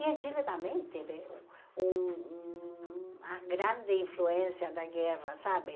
E em Chile também teve um uma grande influência da guerra, sabe?